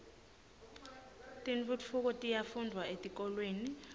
tentfutfuko tiyafundvwa etikolweni